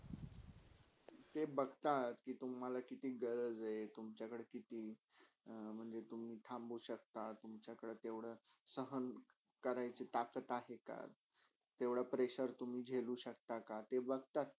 ते बघतात के तुम्हाला किती गरज हय. तुमच्याकडे किती अं म्हणजे तुम्ही थांबु शक्ता तुमच्याकडे केवडा सहान करायची ताकत आहे का? तेवडा pressure झेलू शक्ता का ते बघतात.